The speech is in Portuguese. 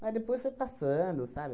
Mas depois foi passando, sabe?